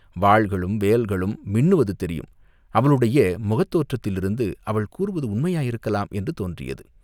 வாள்களும், வேல்களும் மின்னுவது தெரியும்!" அவளுடைய முகத் தோற்றத்திலிருந்து அவள் கூறுவது உண்மையாயிருக்கலாம் என்று தோன்றியது.